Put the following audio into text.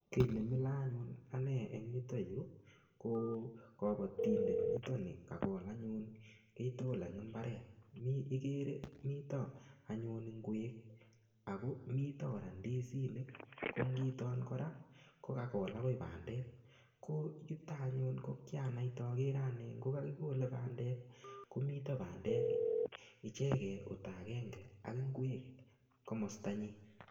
Kii nemilo anyun en yuto yuu ko kobotindet niton nii kakol anyun kii tukul en imbaret, mii ikere mitok anyun ingwek ak ko mitok kora ndisinik ko ngito kora ko kakol akoi bandek, ko yuto anyun ko kianaite okere anee ngo kakikole bandek komite bandek icheke oldakenge ak ingwek komostanyin.